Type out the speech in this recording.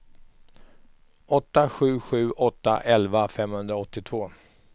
åtta sju sju åtta elva femhundraåttiotvå